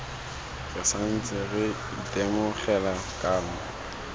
re santse re itemogela kanamo